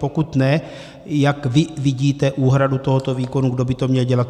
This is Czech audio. Pokud ne, jak vy vidíte úhradu tohoto výkonu, kdo by to měl dělat.